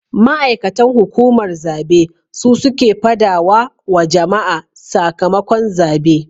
Ma'aikatan hukumar zabe su suke fadawa wa jama'a sakamakon zabe